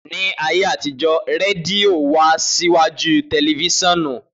Ni ayé àtijó rẹdìo wá síwájú tẹlifisìonu